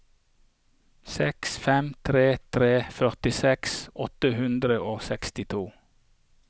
seks fem tre tre førtiseks åtte hundre og sekstito